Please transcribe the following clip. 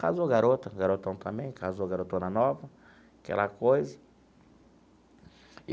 Casou garota, garotão também, casou garotona nova, aquela coisa.